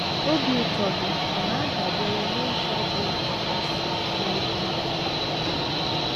OBI ụtọ gị ọ̀ na - adabere n’ụzọ bụ́ isi n’ebe i bi?